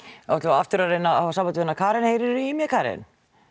þá ætlum við aftur að reyna hafa samband við hana Karen heyrir þú í mér Karen